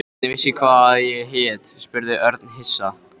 Hvernig vissi hann hvað ég hét? spurði Örn hissa.